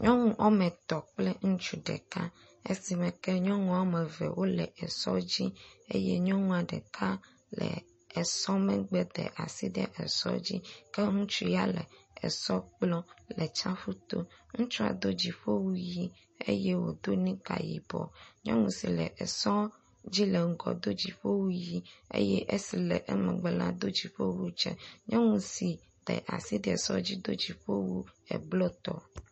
Nyɔnu woame etɔ̃ kple ŋutsu ɖeka, esime ke nyɔnua woame eve wole sɔa dzi eye nyɔnua ɖeka le esɔ megbe da asi ɖe esɔ dzi ke ŋutsu ya le esɔ kplɔm le tsiaƒu to. Ŋutsua do dziƒo wu ʋɛ̃ eye wòdo nika yibɔ, nyɔnu si le esɔ dzi le ŋgɔ do dziƒo wu ʋɛ̃, eye esi le emegbe la do dziƒo wu dze. Nyɔnu si da asi ɖe esɔ dzi la do dziƒo wu blɔ tɔ.